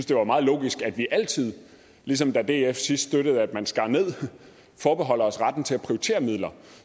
det var meget logisk at vi altid ligesom da df sidst støttede at man skar ned forbeholder os retten til at prioritere midler